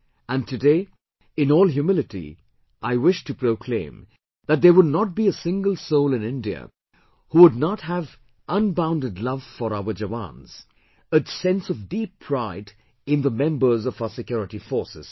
And today, in all humility, I wish to proclaim that there would not be a single soul in India who would not have unbounded love for our Jawans, a sense of deep pride in the members of our security forces